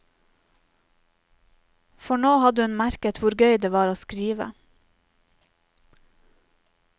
For nå hadde hun merket hvor gøy det var å skrive.